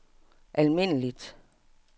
almindeligt